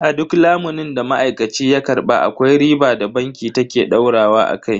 A duk lamunin da ma'aikaci ya karba akwai riba da banki ta ke daurawa akai.